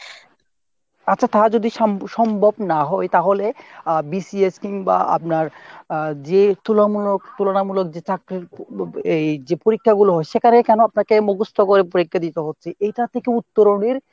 আচ্ছা তাহা যদি সম~ সম্ভব না হয় তাহলে আহ BCS কিংবা আপনার আহ যে যে তুলনামূলক যে চাকরির এই যে পরীক্ষা গুলো হচ্ছে সেখানে কেন আপনাকে মুখস্ত করে পরীক্ষা দিতে হচ্ছে এইটা থেকে উত্তরণ এর